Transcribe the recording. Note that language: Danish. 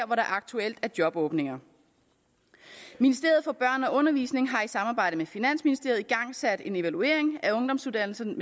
hvor der aktuelt er jobåbninger ministeriet for børn og undervisning har i samarbejde med finansministeriet igangsat en evaluering af ungdomsuddannelserne